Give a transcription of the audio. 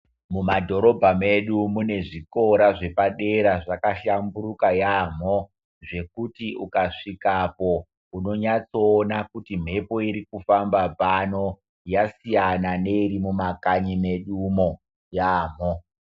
Mumadhorobha medu mune zvikora zvepadera zvakahlamburuka yaamho zvekuti ukazvikapo unonyatsoona kuti mhepo irikufamba pano yasiyana neiri mumakanyi medumo yaamho.